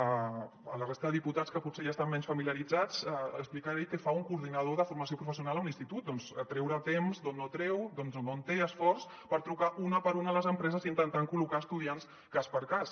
a la resta de diputats que potser hi estan menys familiaritzats els explicaré què fa un coordinador de formació professional a un institut doncs treure temps d’on no en té i esforç per trucar una per una a les empreses intentant col·locar estudiants cas per cas